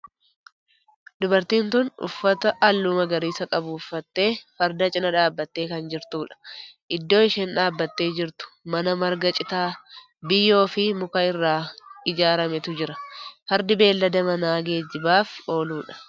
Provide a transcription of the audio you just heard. Dubartiin tun uffata halluu magariisa qabu uffattee farda cinaa dhaabbattee kan jirtudha. iddoo isheen dhaabbattee jirtu mana marga citaa, biyyoo fi muka irraa ijaarametu jira. fardi beellada manaa geejjibaaf ooludha.